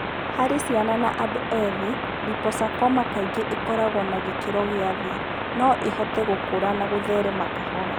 Harĩ ciana na andũ ethĩ, liposarcoma kaingĩ ĩkoragũo ya gĩkĩro kĩa thĩ(no ĩhote gũkũra na gũtherema kahora).